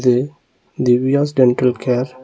இது Divya's dental care .